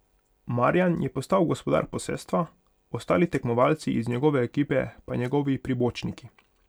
Marjan je postal gospodar posestva, ostali tekmovalci iz njegove ekipe pa njegovi pribočniki.